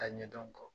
Ka ɲɛdɔn kɔ